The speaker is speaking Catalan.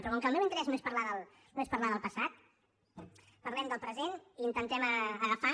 però com que el meu interès no és parlar del passat parlem del present i intentem agafar